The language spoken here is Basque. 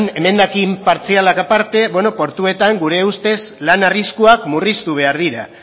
emendakin partzialak aparte beno portuetan gure ustez lan arriskuak murriztu behar dira